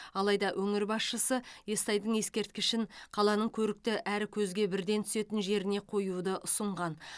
алайда өңір басшысы естайдың ескерткішін қаланың көрікті әрі көзге бірден түсетін жеріне қоюды ұсынған